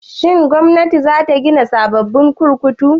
Shin Gwamnati za ta gina sababbin kurkuku?